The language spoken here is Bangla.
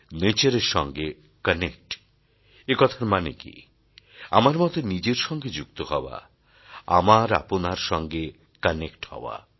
নেচার এর সঙ্গে কানেক্ট একথার মানে কি আমার মতে নিজের সঙ্গে যুক্ত হওয়া আমার আপনার সঙ্গে কানেক্ট হওয়া